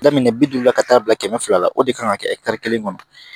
Daminɛ bi duuru la ka taa bila kɛmɛ fila la o de kan ka kɛ kelen kɔnɔ